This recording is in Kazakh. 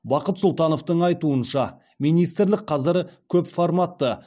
бақыт сұлтановтың айтуынша министрлік қазір көпформатты